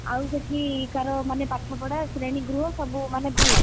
ଆଉ ସେଠିକାର ମାନେ ପାଠପଢା ଶ୍ରେଣୀଗୃହ ସବୁ ମାନେ ଭଲ?